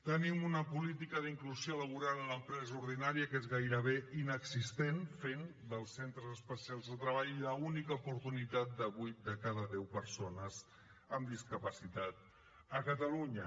tenim una política d’inclusió laboral a l’empresa ordinària que és gairebé inexistent es fa dels centres especials de treball l’única oportunitat de vuit de cada deu persones amb discapacitat a catalunya